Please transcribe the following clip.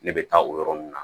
Ne bɛ taa o yɔrɔ ninnu na